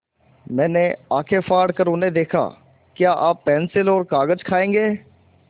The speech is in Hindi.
मैंने आँखें फाड़ कर उन्हें देखा क्या आप पेन्सिल और कागज़ खाएँगे